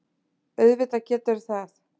Auðvitað geturðu það!